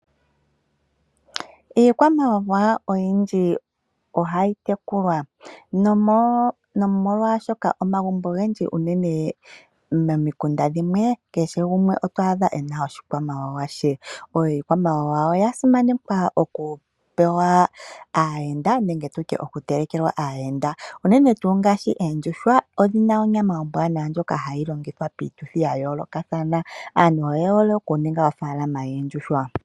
Iikwamawa oyindji ohayi tekulwa nomolwaashoka omagumbo ogendji unene momikunda dhimwe kehe gumwe oto adha ena oshikwamawawa she. Iikwamawawa oya simanekwa okutelekelwa aayenda, unene tuu ngaashi oondjuhwa odhina onyama ombwanawa ndjoka hayi longithwa piituthi ya yoolokathana. Aantu oyehole okuninga oofalalama yoondjuhwa.